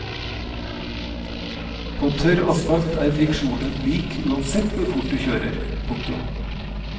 På tørr asfalt er friksjonen lik uansett hvor fort du kjører. punktum